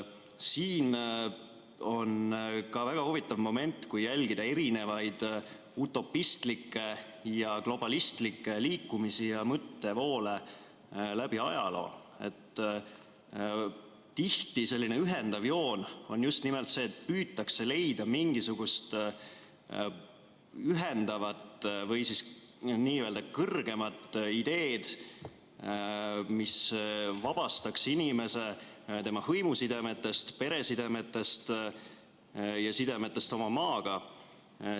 Siin on ka see väga huvitav moment, kui jälgida erinevaid utopistlikke ja globalistlikke liikumisi ja mõttevoole läbi ajaloo, et tihti on selline ühendav joon just nimelt see, et püütakse leida mingisugust ühendavat või n‑ö kõrgemat ideed, mis vabastaks inimese tema hõimusidemetest, peresidemetest ja sidemetest oma maaga.